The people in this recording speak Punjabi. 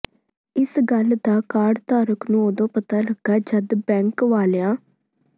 ਇਸ ਗੱਲ ਦਾ ਕਾਰਡ ਧਾਰਕ ਨੂੰ ਉਦੋਂ ਪਤਾ ਲੱਗਾ ਜਦ ਬੈਂਕ ਵਾਲਿਆਂ